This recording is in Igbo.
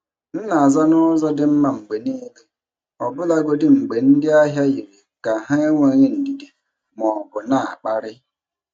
M na-aza n’ụzọ dị mma mgbe niile, ọbụlagodi mgbe ndị ahịa yiri ka ha enweghị ndidi ma ọ bụ na-akparị.